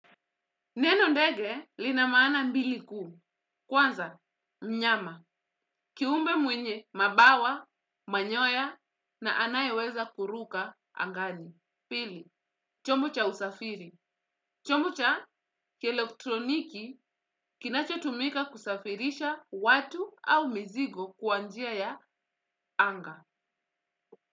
Neno ndege lina maana mbili kuu. Kwanza, mnyama. Kiumbe mwenye mabawa, manyoya na anayeweza kuruka angani. Pili, chombo cha usafiri. Chombo cha kielektroniki kinachotumika kusafirisha watu au mizigo kwa njia ya anga.